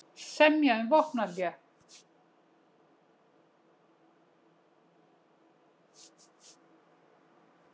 Semja um vopnahlé